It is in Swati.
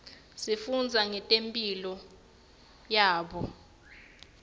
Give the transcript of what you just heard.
sifundza ngetimphilo tabo